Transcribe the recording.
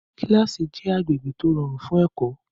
Kílásì jẹ́ agbègbè tó rọrùn fún ẹ̀kọ́